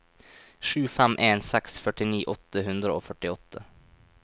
sju fem en seks førtini åtte hundre og førtiåtte